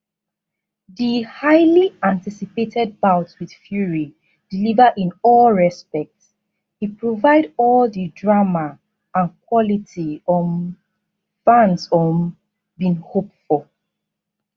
di highly anticipated bout wit fury deliver in all respects e provide all di drama and quality um fans um bin hope for